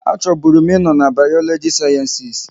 A chọbụrụ m ị nọ n'Bayologikal sayensịs